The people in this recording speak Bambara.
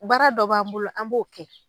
Baara dɔ b'an bolo an b'o kɛ.